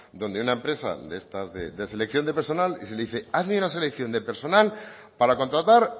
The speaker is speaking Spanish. donde una empresa de estas de selección de personal y se le dice hazme una selección de personal para contratar